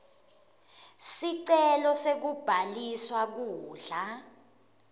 sicelo sekubhaliswa kudla